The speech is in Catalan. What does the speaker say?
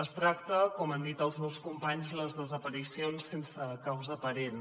es tracta com han dit els meus companys de les desaparicions sense causa aparent